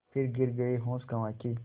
फिर गिर गये होश गँवा के